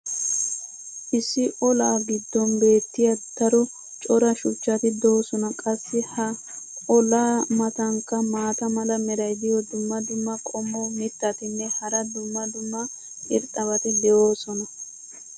issi olaa giddon beetiya daro cora shuchchati doosona. qassi ha olaa matankka maata mala meray diyo dumma dumma qommo mitattinne hara dumma dumma irxxabati de'oosona.